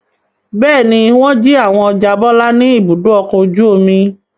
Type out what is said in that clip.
Bẹ́ẹ̀ ni, wọ́n jí àwọn ọjà Bọ́lá ní Ibùdó-ọkọ̀ ojú-omi.